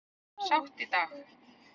Sátt í dag